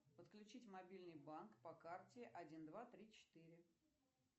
подключить мобильный банк по карте один два три четыре